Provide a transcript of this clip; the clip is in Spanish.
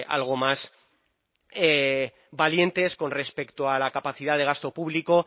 algo más valientes con respecto a la capacidad de gasto público